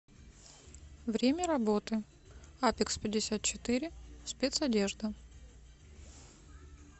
время работы апекспятьдесятчетыре спецодежда